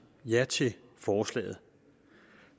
ja til forslaget